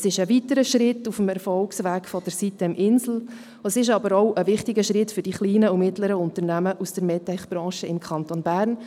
Dies ist ein weiterer Schritt auf dem Erfolgsweg der sitem-insel, aber auch ein wichtiger Schritt für die kleinen und mittleren Unternehmen aus der Medtech-Branche im Kanton Bern.